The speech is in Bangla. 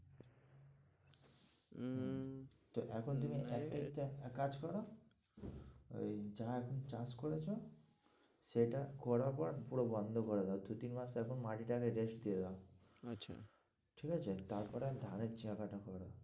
এখন তুমি একটাই কাজ করো ওই যারা এখন চাষ করেছে সেইটা করার পর পুরো বন্ধ করে দাও, দু-তিন মাস এখন মাটিটাকে rest দিয়ে দাও আচ্ছা ঠিক আছে? তারপরে আমি ধানের